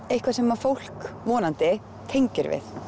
eitthvað sem fólk vonandi tengir við